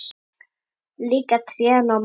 Líka trén og mamma.